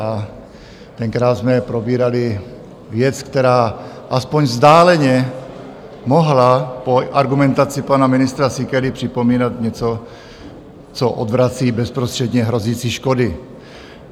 A tenkrát jsme probírali věc, která aspoň vzdáleně mohla po argumentaci pana ministra Síkely připomínat něco, co odvrací bezprostředně hrozící škody.